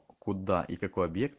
куда и какой объект